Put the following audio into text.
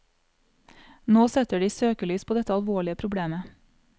Nå setter de søkelys på dette alvorlige problemet.